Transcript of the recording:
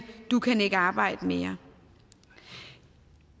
du kan ikke arbejde mere det